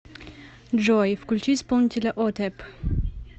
джой включить исполнителя отеп